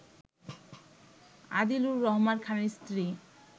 আদিলুর রহমান খানের স্ত্রী